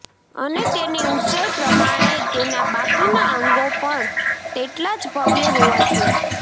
અને તેની ઉંચાઈ પ્રમાણે તેના બાકીના અંગો પણ તેટલા જ ભવ્ય હોવા જોઈએ